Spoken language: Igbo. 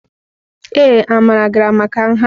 Ee, Amara gara maka nha.